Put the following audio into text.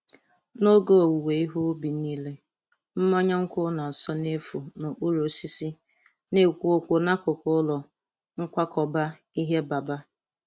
N’oge owuwe ihe ubi niile, mmanya nkwụ na-asọ n’efu n’okpuru osisi na-ekwu okwu n’akụkụ ụlọ nkwakọba ihe Baba.